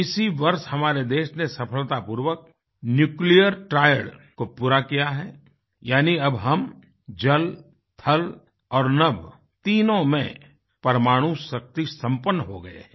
इसी वर्ष हमारे देश ने सफलतापूर्वक न्यूक्लियर ट्रायड को पूरा किया हैयानीअब हम जल थल और नभतीनों में परमाणुशक्ति संपन्न हो गए हैं